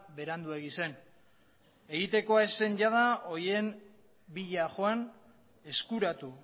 beranduegi zen egitekoa ez zen jada horien bila joan eskuratu